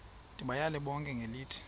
ndibayale bonke ngelithi